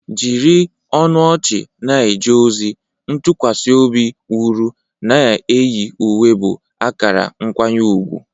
Jiri ọnụ ọchị na-eje ozi, ntụkwasị obi wuru, na-eyi uwe bụ akara nkwanye ùgwù.